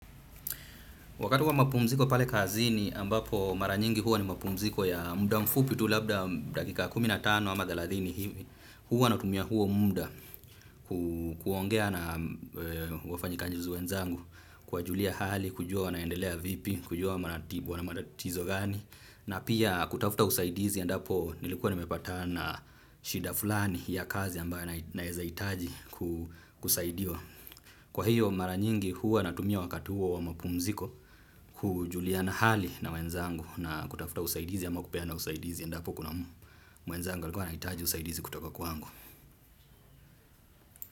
Wakati wa mapumziko pale kazini ambapo mara nyingi huwa ni mapumziko ya muda mfupi tu labda dakika kuminatano ama theladhini hivi. Huwa natumia huo muda kuongea na wafanyikazi wenzangu kwa julia hali, kujua wanaendelea vipi, kujua wana matatizo gani. Na pia kutafuta usaidizi endapo nilikuwa nimepatana na shida fulani ya kazi ambayo naeza hitaji kusaidiwa. Kwa hiyo mara nyingi huwa natumia wakati huwa wa mpumziko kujuliana hali na wenzangu na kutafuta usaidizi ama kupeana usaidizi endapo kuna mwenzangu alikuwa anahitaji usaidizi kutoka kwangu.